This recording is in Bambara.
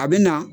A bɛ na